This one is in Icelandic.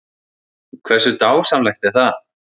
Hversu dásamlegt er það?